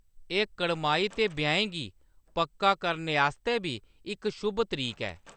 एह्‌‌ कड़माई ते ब्याहें गी पक्का करने आस्तै बी इक शुभ तरीक ऐ।